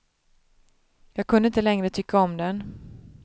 Jag kunde inte längre tycka om den.